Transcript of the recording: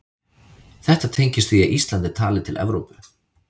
Þetta tengist því að Ísland er talið til Evrópu.